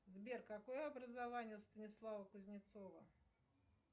сбер какое образование у станислава кузнецова